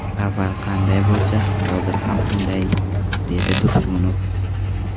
Avval qanday bo‘lsa, hozir ham shunday dedi Tursunov.